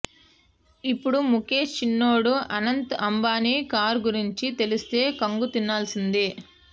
ఇప్పుడు ముఖేష్ చిన్నోడు అనంత్ అంబానీ కారు గురించి తెలిస్తే కంగుతినాల్సిందే